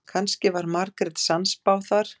Kannski var Margrét sannspá þar.